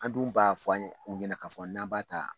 An dun b'a fɔ u ɲɛna k'a fɔ n'an b'a ta